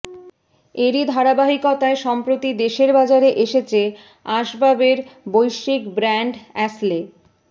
এরই ধারাবাহিকতায় সম্প্রতি দেশের বাজারে এসেছে আসবাবের বৈশ্বিক ব্র্যান্ড অ্যাশলে